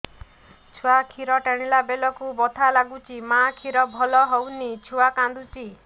ଛୁଆ ଖିର ଟାଣିଲା ବେଳକୁ ବଥା ଲାଗୁଚି ମା ଖିର ଭଲ ହଉନି ଛୁଆ କାନ୍ଦୁଚି